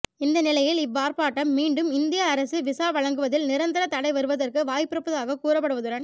இந்த நிலையில் இவ் ஆர்ப்பாட்டாம் மீண்டும் இந்திய அரசு விசா வழங்குவதில் நிரந்தரத் தடை வருவதற்கு வாய்ப்பிருப்பதாக கூறப்படுவதுடன்